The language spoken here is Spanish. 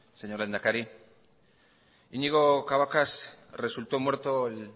señor lehendakari iñigo cabacas resultó muerto el